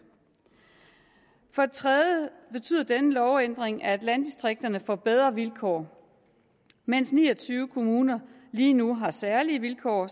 for det tredje betyder denne lovændring at landdistrikterne får bedre vilkår mens ni og tyve kommuner lige nu har særlige vilkår